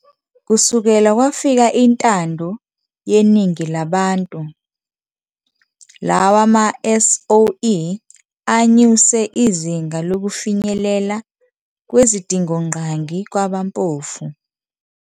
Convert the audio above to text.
Kusukela kwafika intando yeningi labantu, lawa ma-SOE anyuse izinga lokufinyelela kwezidingongqangi kwabampofu.